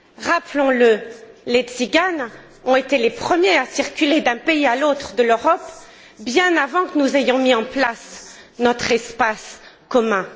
Rappelons le, les Tsiganes ont été les premiers à circuler d'un pays à l'autre de l'Europe, bien avant que nous ayons mis en place notre espace commun.